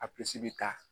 A bɛ taa